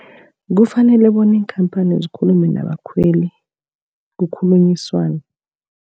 Kufanele bona iinkhamphani zikhulume nabakhweli, kukhulunyiswane.